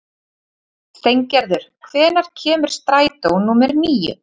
Steingerður, hvenær kemur strætó númer níu?